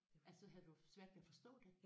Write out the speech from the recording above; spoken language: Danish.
Altså havde du svært ved at forstå det?